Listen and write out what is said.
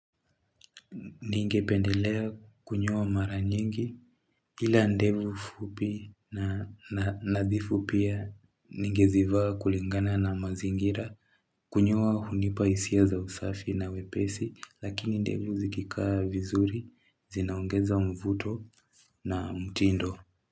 Ningependelea kunyoa mara nyingi ila ndevu fupi na nadhifu pia ningezivaa kulingana na mazingira kunyoa hunipa hisia za usafi na wepesi lakini ndevu zikikaa vizuri zinaongeza mvuto na mtindo.